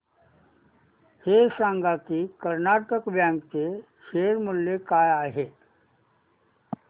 हे सांगा की कर्नाटक बँक चे शेअर मूल्य काय आहे